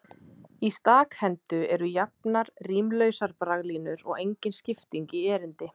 Í stakhendu eru jafnar, rímlausar braglínur og engin skipting í erindi.